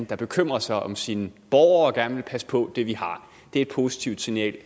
der bekymrer sig om sine borgere og gerne vil passe på det vi har det er et positivt signal